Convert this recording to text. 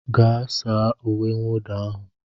Gaa saa uwe mwụda ahụ